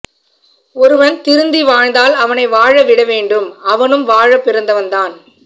ஒருவன் திருந்தி வாழ்ந்தால் அவனை வாழ விட வேண்டும் அவனும் வாழ பிறந்தவன் தான்